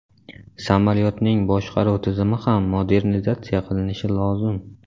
Samolyotning boshqaruv tizimi ham modernizatsiya qilinishi lozim.